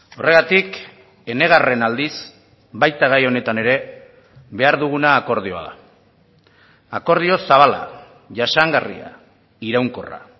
horregatik enegarren aldiz baita gai honetan ere behar duguna akordioa da akordio zabala jasangarria iraunkorra